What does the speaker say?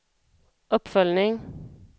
uppföljning